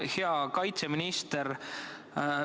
Hea kaitseminister!